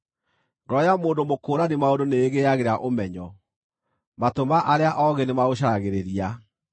Ngoro ya mũndũ mũkũũrani maũndũ nĩĩgĩagĩra ũmenyo; matũ ma arĩa oogĩ nĩmaũcaragĩrĩria.